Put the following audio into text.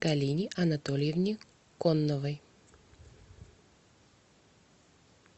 галине анатольевне конновой